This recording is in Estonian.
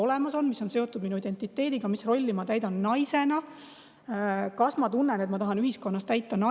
seotud minu identiteediga, sellega, mis rolli ma täidan naisena, kas ma tunnen, et ma tahan ühiskonnas täita naise rolli.